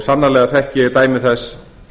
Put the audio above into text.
sannarlega þekki ég dæmi þess